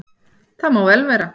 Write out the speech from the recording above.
Það má vel vera að